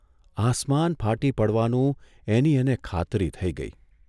આસમાન ફાટી પડવાનું એની એને ખાતરી થઇ ગઇ.